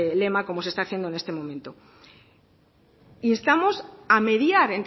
lema como se está haciendo en este momento instamos a mediar